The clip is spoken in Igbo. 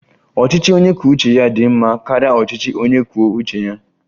Ọchịchị onye kwuo uche ya dị mma karịa ọchịchị onye kwuo uche ya